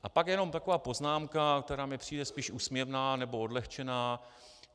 A pak jenom taková poznámka, která mně přijde spíš úsměvná nebo odlehčená.